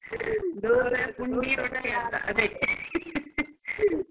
ಅದೇ.